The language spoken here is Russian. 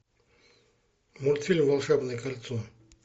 мультфильм волшебное кольцо